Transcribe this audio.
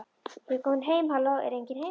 Ég er komin heim halló, er enginn heima?